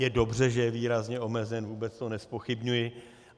Je dobře, že je výrazně omezen, vůbec to nezpochybňuji.